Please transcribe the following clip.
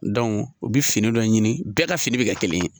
u bɛ fini dɔ ɲini bɛɛ ka fini bɛ ka kelen ye